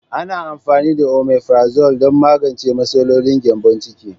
Ana amfani da Omefrazole don magance matsalolin gyambon ciki.